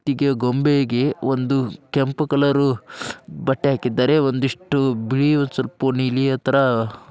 ಗೊಂಬೆಗ ಕೆಂಪ್ ಕಲರ್ ಬಟ್ಟೆ ಹಾಕಿದ್ದಾರೆ ಮತ್ತು ಬಿಳಿ --